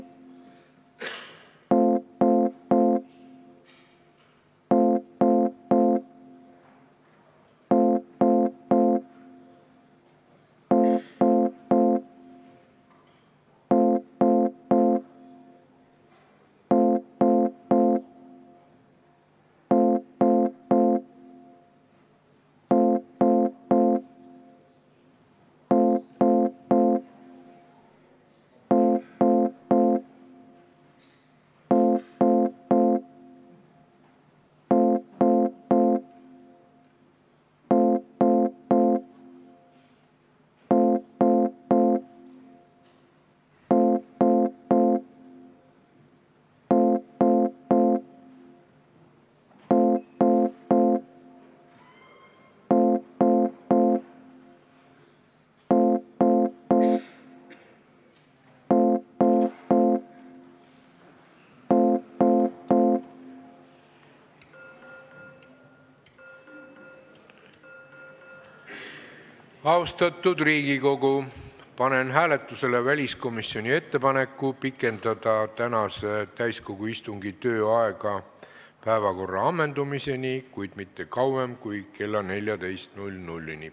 Austatud Riigikogu, panen hääletusele väliskomisjoni ettepaneku pikendada tänase istungi tööaega päevakorra ammendumiseni, kuid mitte kauem kui kella 14-ni.